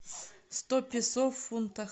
сто песо в фунтах